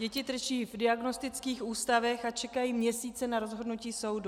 Děti trčí v diagnostických ústavech a čekají měsíce na rozhodnutí soudu.